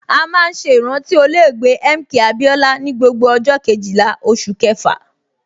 A máa ń ṣe ìrántí olóògbé MK Abiola ni gbogbo ọjọ Kejìlá oṣù kẹfà.